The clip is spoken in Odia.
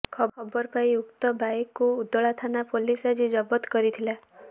ଖବର ପାଇ ଉକ୍ତ ବାଇକକୁ ଉଦଳା ଥାନା ପୁଲିସ ଆଜି ଜବତ କରିଥିଲା